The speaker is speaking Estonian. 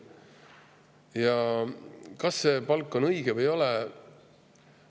Ja kas see palk on õige või ei ole?